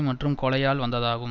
மற்றும் கொலையால் வந்ததாகும்